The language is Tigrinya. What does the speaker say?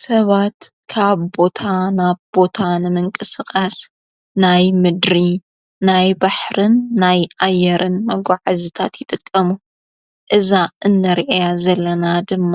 ሰባት ካብ ቦታ ናብ ቦታ ንምንቂ ስቓስ ናይ ምድሪ ናይ ባሕርን ናይ ኣየርን መጕዐ ዘታት ይጠቀሙ እዛ እነርአያ ዘለና ድማ